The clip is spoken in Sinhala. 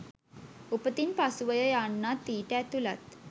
උපතින් පසුවය යන්නත් ඊට ඇතුළත්